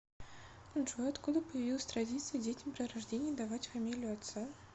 джой откуда появилась традиция детям при рождении давать фамилию отца